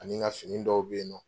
Ani ka fini dɔw bɛ yen nɔ